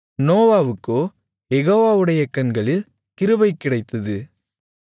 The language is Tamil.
நோவாவுக்கோ யெகோவாவுடைய கண்களில் கிருபை கிடைத்தது